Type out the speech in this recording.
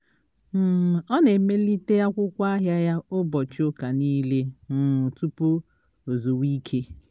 um ọ na-emelite akwụkwọ ahịa ya ụbọchị ụka nile um tụpụ o zuwa ike